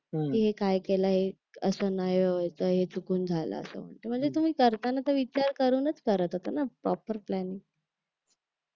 की हे काय केलं आहे असं नाही बोलायचं हे चुकून झालं असं म्हणजे तुम्ही करताना तर विचार करूनच करत होता ना प्रॉपर प्लॅन